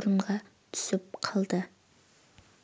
орынға түсіп қалды